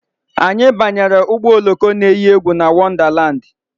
Anyị banyere ụgbọ oloko na eyi egwu na Wondalandi